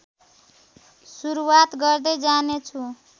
सुरुवात गर्दै जानेछु